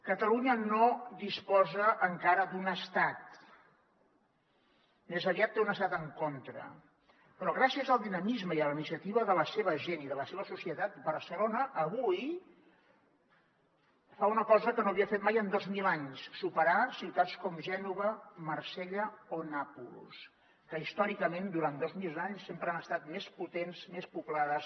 catalunya no disposa encara d’un estat més aviat té un estat en contra però gràcies al dinamisme i a la iniciativa de la seva gent i de la seva societat barcelona avui fa una cosa que no havia fet mai en dos mil anys superar ciutats com gènova marsella o nàpols que històricament durant dos mil anys sempre han estat més potents més poblades